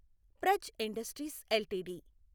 Praj industries LTD